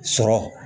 Sɔrɔ